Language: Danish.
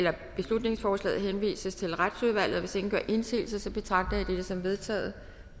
at beslutningsforslaget henvises til retsudvalget hvis ingen gør indsigelse betragter jeg dette som vedtaget